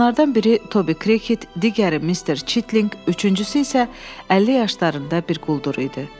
Onlardan biri Tobi Krıket, digəri Mister Çitlinq, üçüncüsü isə 50 yaşlarında bir quldur idi.